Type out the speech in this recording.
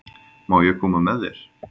Má ég koma með þér?